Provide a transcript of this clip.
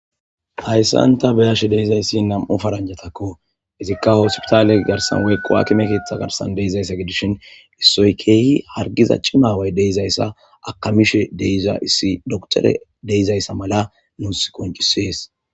Hayssanta beyashe deizayssi nam,o faranjatakko izikka hoosipitaale garsan weekqowakime keeththa garsan deeizayssa gidishin issoy keehi hargiza cimaway deizayssa akamishe deiza issi doktore deizayssa mala nuus koncisees.